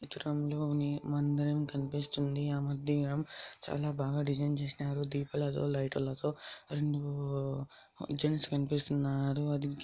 ఈ చిత్రంలోని మందిరం కనిపిస్తుంది ఆ మందిరం చాలా బాగా డిజైన్ చేసినారు దీపాలతో లైటులతో అండ్ జెంట్స్ కనిపిస్తున్నారు అది---